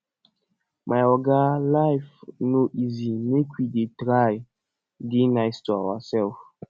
my oga life no easy make we dey try dey nice to ourselves